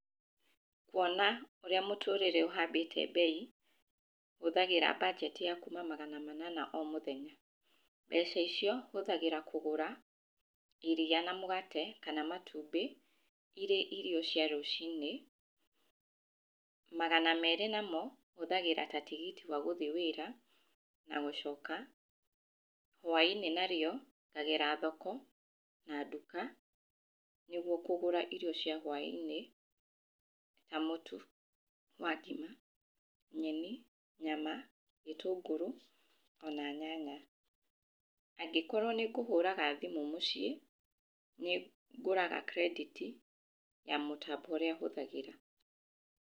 Kuona ũra mũtũrĩre ũhambĩtie mbei, hũthagĩra mbanjeti ya kuma magana manana. Mbeca icio hũthagĩra kũgũra iriia na mũgate kana matumbĩ irĩ irio cia rũcinĩ, magana merĩ namo hũthagĩra ta tigiti wa gũthi wĩra na gũcoka, hwainĩ na rĩo ngagera thoko na nduka nĩguo kũgũra irio cia hwainĩ na mũtu wa ngima , nyeni nyama, gĩtũngũrũ ona nyanya. Angĩkorwo nĩ ngũhũraga thimũ mũciĩ, nĩ ngũraga kirendĩti, ya mũtambo ũrĩa hũthagĩra.